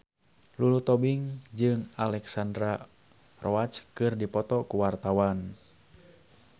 Lulu Tobing jeung Alexandra Roach keur dipoto ku wartawan